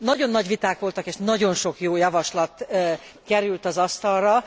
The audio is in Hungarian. Nagyon nagy viták voltak és nagyon sok jó javaslat került az asztalra.